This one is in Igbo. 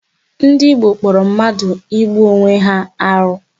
Ndị Igbo kpọrọ mmadụ igbu Onwe ya arụ.